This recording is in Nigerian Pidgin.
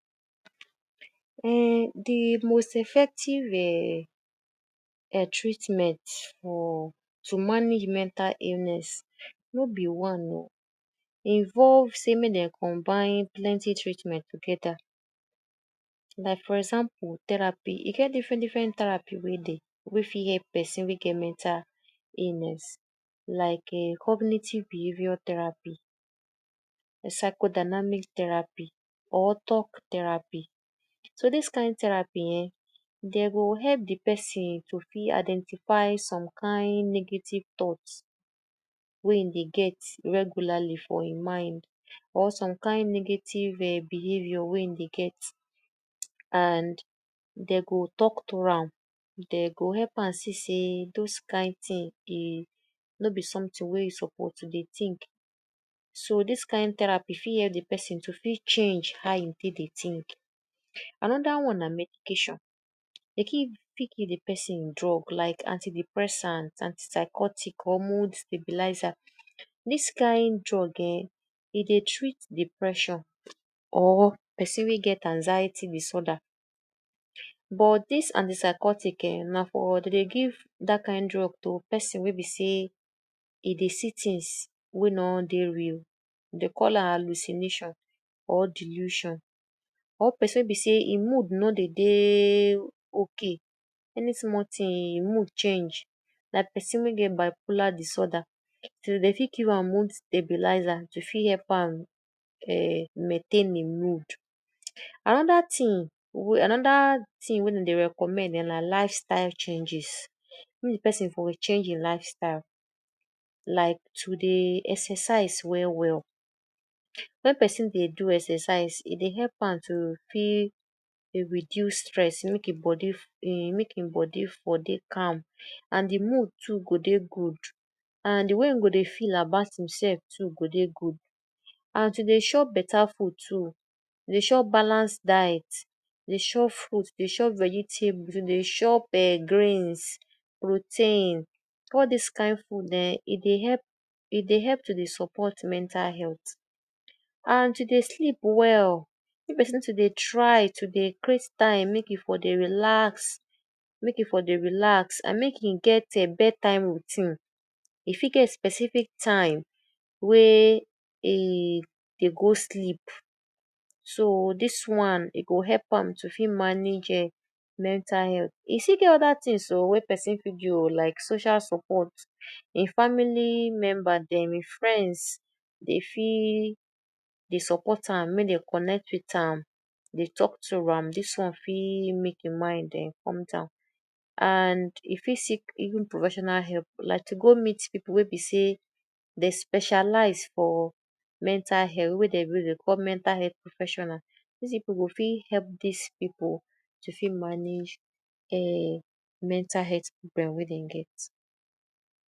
Um de most effective um treatment for to manage mental illness no be one o. e involve say mek dem combine plenty treatment together. Like, for example, therapy, e get different, different therapy wey dey, wey dey fit help pesin wey get mental illness, like cognitive behaviour therapy, a psychodynamic therapy or talk therapy. So, dis kind therapy um dem go help de pesin to fit identify some kind negative thoughts wey im dey get regularly for im mind, or some kind negative um behaviour wey e dey get and de go talk to am, de go help am see say those kind tin dey no be sometin wey you suppose to dey think. So, dis kind therapy fit help de pesin to fit change how e take dey think. Another one na medication, e fit give de pesin drugs like anti-depressant, antipsychotic or mood stabilizer. Dis kind drug um, e dey treat depression or pesin wey get anxiety disorder, but, dis antipsychotic um na for… dem dey give dat kind drug to pesin wey be e dey see tins wey no dey real, de call am hallucination or delusion or pesin wey be say e mood no dey, dey okay. Any small tin, e mood change, like pesin wey get bipolar disorder so dem dey fit give am mood stabilizer to fit am um maintain e mood. Another tin wey another tin wey dem dey recommend na lifestyle changes, wey de pesin for change e lifestyle like to dey exercise well, well. Wen pesin dey do exercise, e dey help am to fit reduce stress, mek e body fit, mek e body fit calm and de mood too go dey good. And de way e go dey feel about himself too go dey good. And to dey chop beta food too, dey chop balance diet, dey chop fruit, dey chop vegetable. If you dey chop greens, protein, all dis kan food um e dey help, e dey help to dey support mental health, and to dey sleep well. Mek pesin dey try to dey create time mek e for dey relax, mek e for dey relax and mek e get bed time routine. E fit get specific time wey e, e dey go sleep. So, dis one, e go help am to fit manage um mental health. E still get other tins o, wey pesin fit do o, like social support. E family member, dem, e friends fit dey support am, mek dey connect wit am dey talk to am, dis one fit mek im mind come down and e fit seek professional help, like to go meet pipu dat specialize for mental health wey dem dey call mental professional. Dis pipu to fit manage um mental health problem wey dem get.